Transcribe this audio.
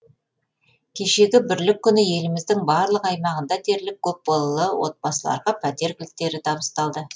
кешегі бірлік күні еліміздің барлық аймағында дерлік көпбалалы отбасыларға пәтер кілттері табысталды